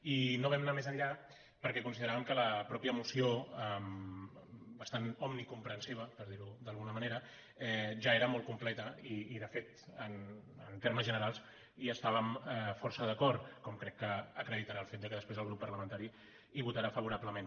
i no vam anar més enllà perquè consideràvem que la mateixa moció bastant omnicomprensiva per dir·ho d’alguna manera ja era molt complerta i de fet en termes generals hi està·vem força d’acord com crec que acreditarà el fet que després el grup parlamentari hi votarà favorablement